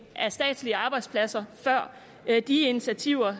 af statslige arbejdspladser før de initiativer